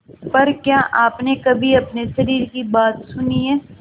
पर क्या आपने कभी अपने शरीर की बात सुनी है